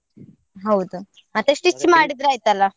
ಹೌದ ಮತ್ತೆ stitch ಮಾಡಿದ್ರೆ ಆಯ್ತಲ್ಲ.